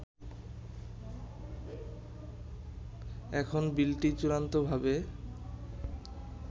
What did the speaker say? এখন বিলটি চূড়ান্তভাবে